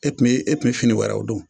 E kun me e kun me fini wɛrɛw don